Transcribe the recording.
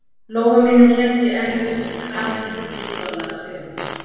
lófa mínum hélt ég enn utan um kraminn tuttugu dollara seðilinn.